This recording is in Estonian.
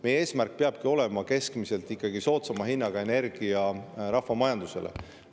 Meie eesmärk peabki olema keskmiselt soodsama hinnaga energia rahvamajandusele.